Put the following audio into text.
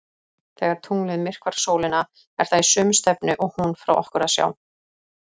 Þegar tunglið myrkvar sólina er það í sömu stefnu og hún frá okkur að sjá.